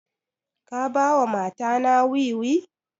Ka ba wa mata na wiwi?